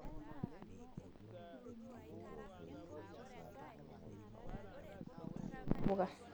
Kitumia ilaramatak ivufagashio sidain ashumie ntapuka